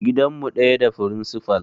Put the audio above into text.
Gidan mu ɗaya da firincifal